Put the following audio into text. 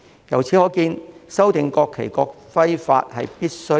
由此可見，修訂《國旗法》及《國徽法》實屬必要。